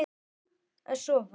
Skýst óséð bak við tunnu.